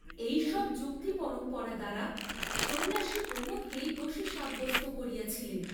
এই সব যুক্তিপরম্পরা দ্বারা সন্ন্যাসী প্রমোদকেই দোষী সাব্যস্ত করিয়াছিলেন।